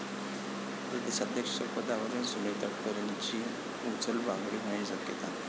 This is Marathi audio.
प्रदेशाध्यक्ष पदावरून सुनील तटकरेंची उचलबांगडी होण्याची शक्यता